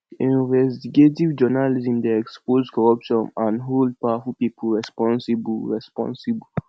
investigative journalism dey expose corruption and hold powerful people responsible responsible